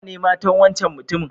Nawa ne matan wancan mutumin?